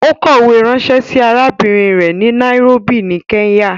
Ó kọ̀wę ránṣẹ́ sí arábìrin rẹ̀ ni Nairobi ní Kenya.